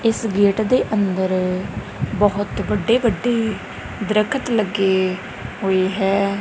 ਇਸ ਗੇਟ ਦੇ ਅੰਦਰ ਬਹੁਤ ਵੱਡੇ ਵੱਡੇ ਦਰਖਤ ਲੱਗੇ ਹੋਏ ਹੈ।